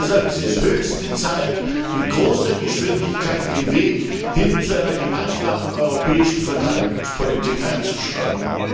Deshalb ist es höchste Zeit, mit großer Geschwindigkeit den Weg hin zu einer gemeinsamen europäischen Verteidigungspolitik einzuschlagen.